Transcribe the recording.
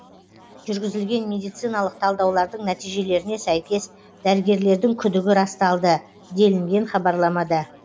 жүргізілген медициналық талдаулардың нәтижелеріне сәйкес дәрігерлердің күдігі расталды делінген хабарламада